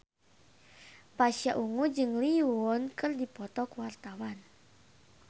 Pasha Ungu jeung Lee Yo Won keur dipoto ku wartawan